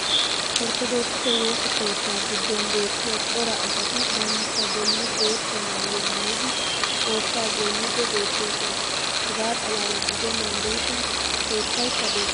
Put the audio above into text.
orttodookisse woossa keettaa giddon beettiya cora asati bantta boli bootta maayuwa maayidi xoossaa goynniidi beetoosona. hegaa xalaala gidennan diishshin keettaykka des.